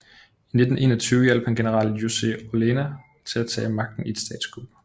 I 1921 hjalp han general José Orellana til at tage magten i et statskup